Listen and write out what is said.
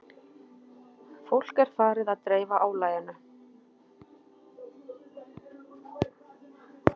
Fólk er farið að dreifa álaginu